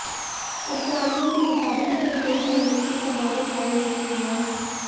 अधिकारियों के मुताबिक इसमें कोई भी अमेरिकी कमांडो घायल नहीं हुआ है